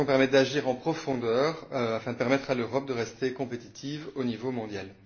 Leurs actions permettent d'agir en profondeur afin de permettre à l'Europe de rester compétitive au niveau mondial.